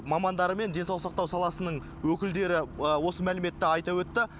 мамандары мен денсаулық сақтау саласының өкілдері осы мәліметті айта өтті